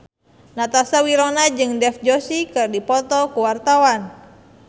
Natasha Wilona jeung Dev Joshi keur dipoto ku wartawan